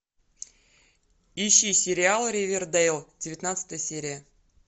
ищи сериал ривердейл девятнадцатая серия